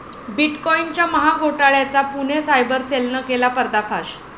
बिटकॉईनच्या महाघोटाळ्याचा पुणे सायबर सेलनं केला पर्दाफाश